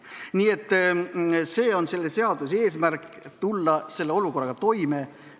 Nii et see on selle seaduseelnõu eesmärk: tulla sellise olukorraga toime.